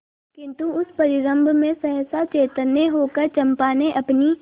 किंतु उस परिरंभ में सहसा चैतन्य होकर चंपा ने अपनी